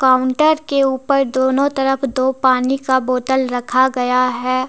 Counter के ऊपर दोनों तरफ दो पानी का बोतल रखा गया है।